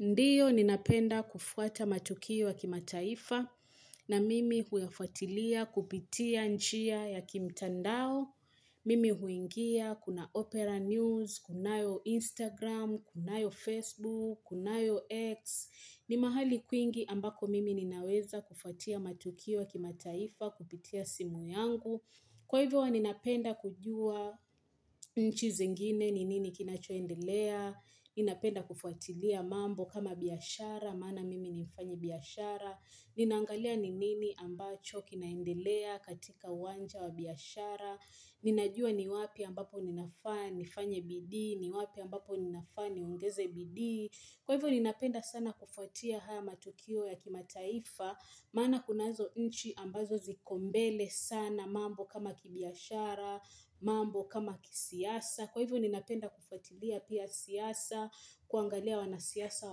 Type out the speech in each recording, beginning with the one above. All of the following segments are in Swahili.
Ndiyo, ninapenda kufuata matukioya kima taifa na mimi huyafuatilia kupitia njia ya kimtandao. Mimi huingia, kuna Opera News, kunayo Instagram, kunayo Facebook, kunayo X. Ni mahali kwingi ambako mimi ninaweza kufuatia matukioya kima taifa kupitia simu yangu. Kwa hivyo, ninapenda kujua nchizi ngine ni nini kinachoe ndelea. Ninapenda kufuatilia mambo kama biashara, maana mimi nimfanya biashara Ninangalia ni nini ambacho kinaendelea katika uwanja wa biashara Ninajua ni wapi ambapo ninafaanifanye bidii, ni wapi ambapo ninafaani ongeze bidii Kwa hivyo ninapenda sana kufuatia haya matukio ya kimataifa Maana kunazo nchi ambazo zikombele sana mambo kama kibiashara, mambo kama kisiasa Kwa hivyo ninapenda kufuatilia pia siasa, kuangalia wanasiasa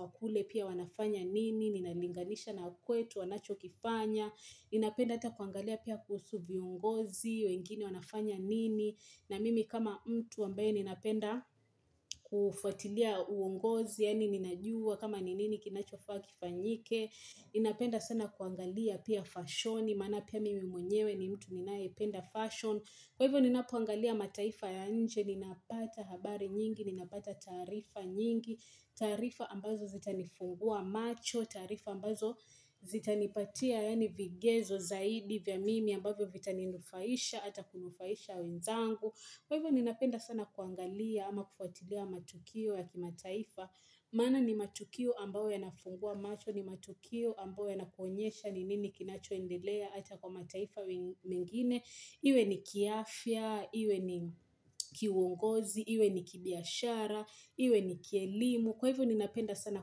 wakule pia wanafanya nini, ninalinganisha na kwetu, wanachokifanya Ninapenda ata kuangalia pia kuhusu viongozi, wengine wanafanya nini na mimi kama mtu ambaye ninapenda kufuatilia uongozi, yaani ninajua kama ninini kinachofaa kifanyike Ninapenda sana kuangalia pia fashion, mana pia mimi mwenyewe ni mtu ninayependa fashion Kwa hivyo ninapoangalia mataifa ya nje, ninapata habari nyingi, ninapata taarifa nyingi, taarifa ambazo zita nifungua macho, taarifa ambazo zita nipatia yaani vigezo zaidi vya mimi ambavyo vitani nufaisha, ata kunufaisha wenzangu. Kwa hivyo ni napenda sana kuangalia ama kufuatilea matukio ya kimataifa Maana ni matukio ambayo yanafungua macho ni matukio ambayo ya nakuonyesha ni nini kinachoendelea Ata kwa mataifa mengine Iwe ni kiafya, iwe ni kiuongozi, iwe ni kibiashara, iwe ni kielimu Kwa hivyo ni napenda sana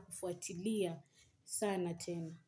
kufuatilia sana tena.